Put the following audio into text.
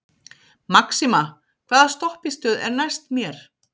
Maxima, hvaða stoppistöð er næst mér?